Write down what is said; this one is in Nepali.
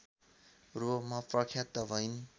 रूपमा प्रख्यात भइन्